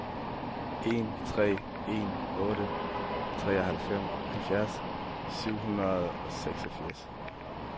en tre en otte treoghalvfjerds syv hundrede og seksogfirs